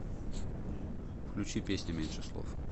включи песня меньше слов